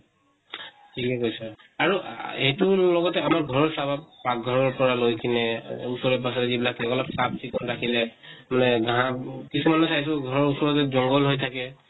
ঠিকে কৈছা। আৰু আহ সেইটোৰ লগতে আমাৰ ঘৰত চাবা পাক্ঘৰৰ পৰা লৈ কিনে ওচৰে পাজৰে যিবিলাক লগা লগ চাফ চিকুন ৰাখিলে মানে ঘাঁহ কিছুমানে ঘৰৰ ওচৰতে জঙ্ঘল হৈ থাকে